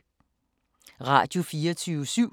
Radio24syv